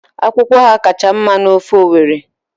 Akwukwo Ọha kacha mma n'ofe Owerri